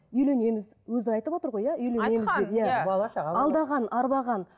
үйленеміз өзі айтып отыр ғой иә үйленеміз алдаған арбаған